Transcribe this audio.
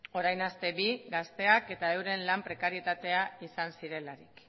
orain aste bi gazteak eta euren lan prekarietatea izan zirelarik